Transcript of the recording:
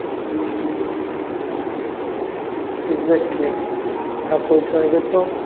exactly ଯାହା କହୁଛ ଏବେ ତ government industry